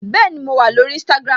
Bẹẹni, mo wà lórí Instagram